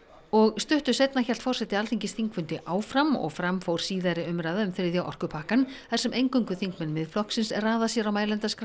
og stuttu seinna hélt forseti Alþingis þingfundi áfram og fram fór síðari umræða um þriðja orkupakkann þar sem eingöngu þingmenn Miðflokksins raða sér á mælendaskrá